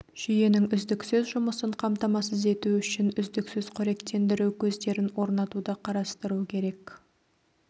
жүйенің үздіксіз жұмысын қамтамасыз ету үшін үздіксіз қоректендіру көздерін орнатуды қарастыру керек